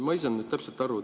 Ma ei saanud täpselt aru.